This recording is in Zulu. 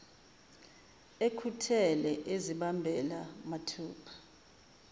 ekhuthele ezibambela mathupha